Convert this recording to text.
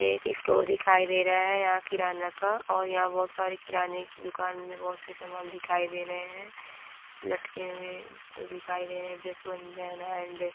एक स्टोर दिखाई दे रहा हैयहाँ किराना का और यहाँ बहुत सारे किराने दुकान में बहुत सारे समान दिखाई दे रहे हैं लटके हुए दिखाई दे एण्ड --